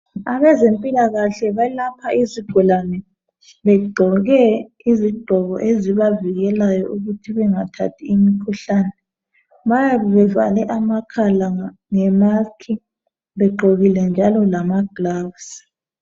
Abezempilakahle balapha izigulane begqoke izigqoko ezibavikelayo ukuthi bengathathi imikhuhlane. Bayabe bevale amakhala ngemask begqokile njalo lamagloves